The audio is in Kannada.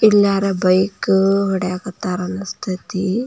ಇಲ್ಲಿ ಯಾರೋ ಬೈಕ್ ಹೊಡಿಯಾಕತ್ತರ ಅನಸ್ತೇತಿ.